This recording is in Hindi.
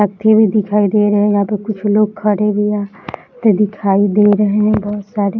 तख्ती भी दिखाई दे रहे हैं यहाँ पे कुछ लोग खड़े भी हैं ते दिखाई दे रहे हैं बहुत सारी।